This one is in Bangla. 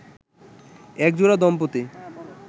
একজোড়া দম্পতি